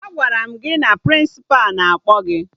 Agwara m gị na Prịnsịpa na-akpọ gị!